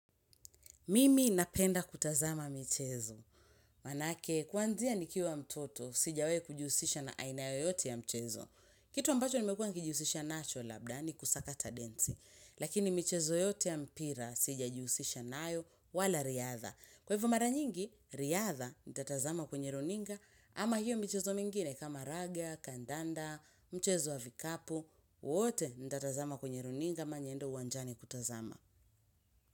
Mimi napenda kutazama michezo, manake kwanzia nikiwa mtoto sijawai kujihusisha na aina yoyote ya mchezo. Kitu ambacho nimekuwa nikijihusisha nacho labda ni kusakata densi. Lakini michezo yote ya mpira sijajihusisha nayo wala riadha. Kwa hivyo mara nyingi, riadha ntatazama kwenye runinga, ama hiyo michezo mingine kama raga, kandanda, mchezo wa vikapo, wote ntatazama kwenye runinga ama niende uwanjani kutazama.